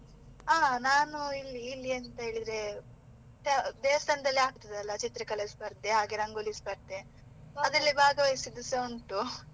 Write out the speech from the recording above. ಹಾ, ನಾನು ಇಲ್ಲಿ ಇಲ್ಲಿ ಎಂತ ಹೇಳಿದ್ರೆ ದೇವಸ್ಥಾನದಲ್ಲಿ ಆಗ್ತದೆ ಅಲ್ಲ ಚಿತ್ರಕಲೆ ಸ್ಪರ್ಧೆ, ಹಾಗೆ ರಂಗೋಲಿ ಸ್ಪರ್ಧೆ ಅದರಲ್ಲಿ ಭಾಗವಹಿಸಿದ್ದು ಸಹ ಉಂಟು.